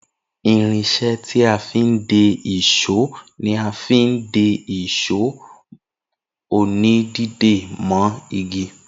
Irinsé tí a fin de ìsó ní a má fin de ìsó òní dídé mọ́ igi